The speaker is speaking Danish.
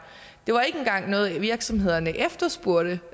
det var ikke engang noget virksomhederne efterspurgte